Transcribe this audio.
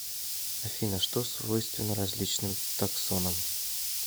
афина что свойственно различным таксонам